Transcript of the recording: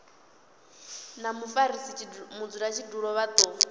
na mufarisa mudzulatshidulo vha do